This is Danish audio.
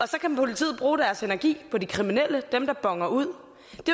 så kan politiet bruge deres energi på de kriminelle dem der boner ud